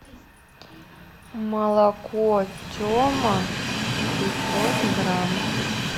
молоко тема пятьсот грамм